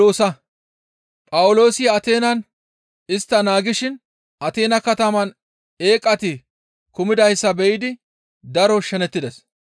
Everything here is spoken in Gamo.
Phawuloosi Ateenan istta naagishin Ateena kataman eeqati kumidayssa be7idi daro shenetides.